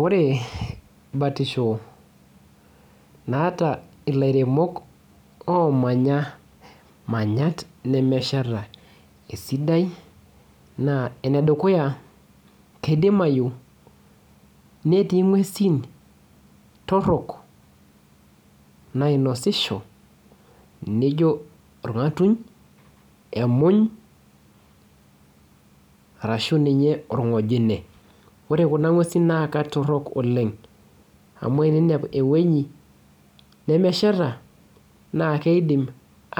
Ore batisho naata ilairemok omanya manyat nemesheta esidai naa enedukuya kedimayu netii ing'uesin torrok nainosisho neijo orng'atuny emuny arashu ninye orng'ojine ore kuna ng'uesin naa katorrok oleng amu eneinepu ewueji nemesheta naa keidim